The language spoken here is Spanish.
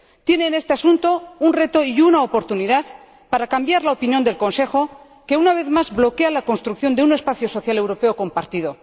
Tiene en este asunto un reto y una oportunidad para cambiar la opinión del Consejo, que, una vez más, bloquea la construcción de un espacio social europeo compartido.